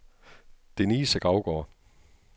Denise Gravgaard